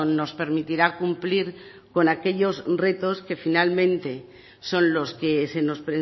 nos permitirá cumplir con aquellos retos que finalmente son los que se nos